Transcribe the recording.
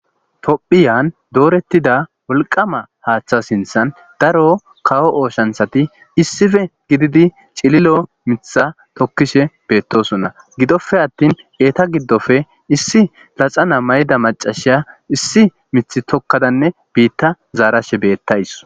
Tophiyan doorettida wolqama haaththa sinthan daro kawo ooshanthati issife gididi cililo mitha tokkishe beettosonna gidofe attin eeta giddofe issi laxana mayda macashiya issi mith tokkadanne biitta zaarashe beettays.